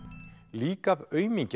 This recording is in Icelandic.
lík af aumingja